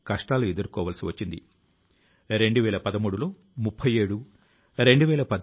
మీరు వాటి సమాచారాన్ని నమో App నమో ఏప్ ద్వారా నాకు తప్పనిసరిగా తెలియ జేయగలరు